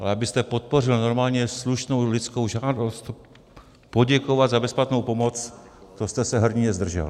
Ale abyste podpořil normálně slušnou lidskou žádost poděkovat za bezplatnou pomoc, to jste se hrdinně zdržel.